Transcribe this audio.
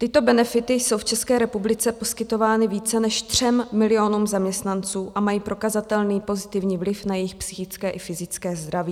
Tyto benefity jsou v České republice poskytovány více než 3 milionům zaměstnanců a mají prokazatelný pozitivní vliv na jejich psychické i fyzické zdraví.